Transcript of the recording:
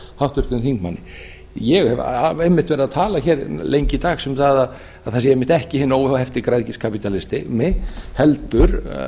háttvirtum þingmanni ég hef einmitt verið að tala hér lengi dags um að það sé ekki hinn óhefti græðgiskapítalismi heldur